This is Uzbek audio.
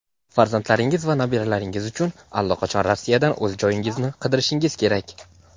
farzandlaringiz va nabiralaringiz uchun allaqachon Rossiyadan o‘z joyingizni qidirishingiz kerak.